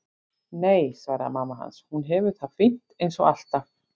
Nei, svaraði mamma hans, hún hefur það fínt eins og alltaf.